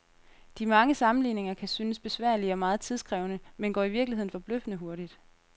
De mange sammenligninger kan synes besværlige og meget tidskrævende, men går i virkeligheden forbløffende hurtigt.